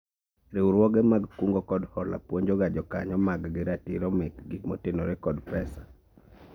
Riwruoge mar kungo kod hola puonjoga jokanyo mag gi ratiro mekgi motenore kod pesa